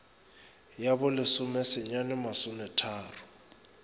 ya bo lesome senyane masometharo